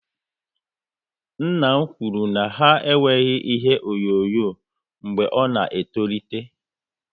Nna m kwụrụ na ha enweghị ihe onyonyo mgbe ọ na etolite